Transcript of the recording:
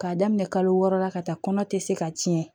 K'a daminɛ kalo wɔɔrɔ la ka taa kɔnɔ tɛ se ka tiɲɛ